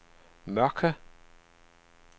Mørke